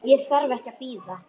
Ég þarf ekki að bíða.